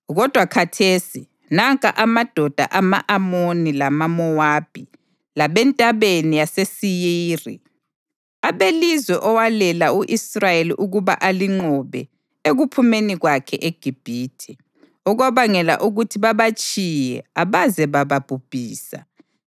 Kodwa khathesi nanka amadoda ama-Amoni lamaMowabi labeNtabeni yaseSeyiri, abelizwe owalela u-Israyeli ukuba alinqobe ekuphumeni kwakhe eGibhithe; okwabangela ukuthi babatshiye abaze bababhubhisa.